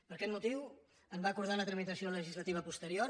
per aquest motiu en va acordar la tramitació legislativa posterior